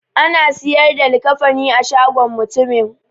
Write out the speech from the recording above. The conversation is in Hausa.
Ana siyar da likafani a shagon mutumin.